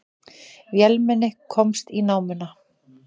Vélmenni komst í námuna